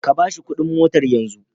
Ka ba shi kuɗin motar yanzu.